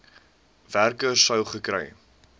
werker sou gekry